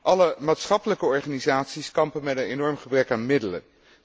Alle maatschappelijke organisaties kampen met een enorm gebrek aan middelen.